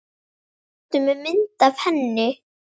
Ertu með mynd af henni?